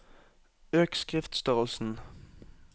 Øk skriftstørrelsen